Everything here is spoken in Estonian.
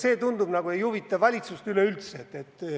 Ent tundub, et see nagu ei huvita valitsust üleüldse.